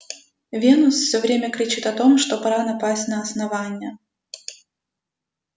венус все время кричит о том что пора напасть на основание